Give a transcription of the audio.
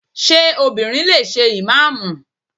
Ṣé obìnrin lè ṣe ìmáàmù?